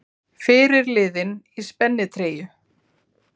Fyrirliðinn í spennitreyju